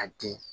A di